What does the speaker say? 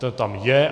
To tam je.